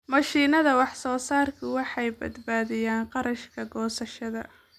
Mashiinnada wax-soo-saarka waxay badbaadiyaan kharashka goosashada.